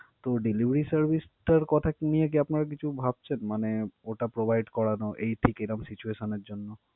তো delivery service টার কথা কি নিয়ে কি আপনারা কিছু ভাবছেন? মানে ওটা provide করানোর এই ঠিক এরাম situation এর জন্য?